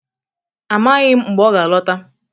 Amaghị m mgbe ọ ga-alọta